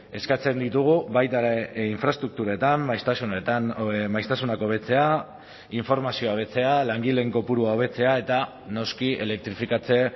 eskatzen ditugu baita ere infraestrukturetan maiztasunetan maiztasunak hobetzea informazioa hobetzea langileen kopurua hobetzea eta noski elektrifikatze